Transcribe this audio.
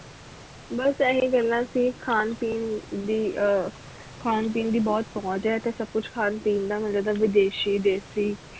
ਬਸ ਏਹੀ ਗੱਲਾਂ ਸੀ ਖਾਣ ਪੀਣ ਦੀ ਅਹ ਖਾਣ ਪੀਣ ਦੀ ਬੁਹਤ ਪੌਂਚ ਹੈ ਇਥੇ ਸਬ ਕੁਛ ਖਾਨ ਪੀਣ ਦਾ ਮਿਲ ਜਾਂਦਾ ਵਿਦੇਸ਼ੀ ਦੇਸੀ